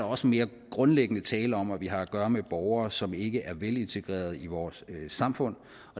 også mere grundlæggende tale om at vi har at gøre med borgere som ikke er velintegreret i vores samfund